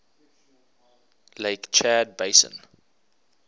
lake chad basin